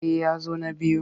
Eh ya zo na biyu.